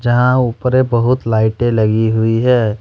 यहां ऊपर मे बहुत लाइटे लगी हुई है।